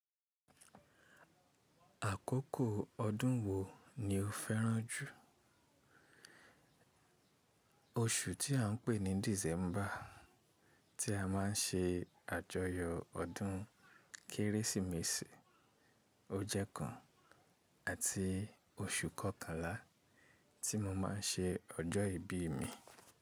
Àkókò ọdún wo ni o fẹ́ràn jù? Oṣù tí à n pè ní December tí a má n se àjọyọ ọdún Kérésìmesì, o jẹ́ kàn àti oṣù kọkànlá tí mo ma n se ọjọ́ ìbí mi.